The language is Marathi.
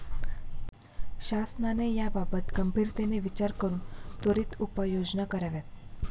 शासनाने याबाबत गंभीरतेने विचार करून त्वरित उपाययोजना कराव्यात.